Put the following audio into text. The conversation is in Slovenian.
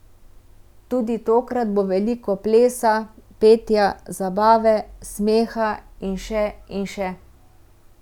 Tudi tokrat bo veliko plesa, petja, zabave, smeha in še in še...